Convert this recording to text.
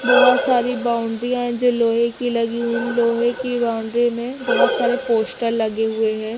बहोत सारी बाउंड्री है जो लोहे की लगी हुई लोहे की बाउंड्री में बहोत सारे पोस्टर लगे हुए हैं।